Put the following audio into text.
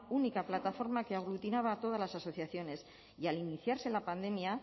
única plataforma que aglutinaba a todas las asociaciones y al iniciarse la pandemia